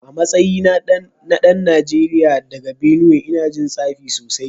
A matsayina na dan Najeriya daga Benue ina jin tsafi sosai